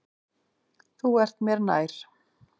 Þú ert mér nær.